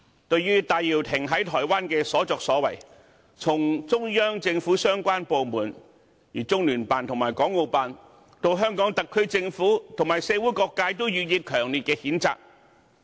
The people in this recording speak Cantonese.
對於戴耀廷在台灣的所作所為，從中央政府相關部門，中聯辦和港澳辦，到香港特區政府和社會各界，均予以強烈譴責。